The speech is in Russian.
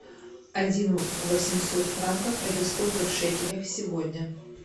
один восемьсот франков это сколько в шекелях сегодня